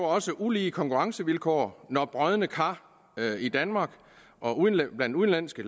også ulige konkurrencevilkår når brodne kar i danmark og blandt udenlandske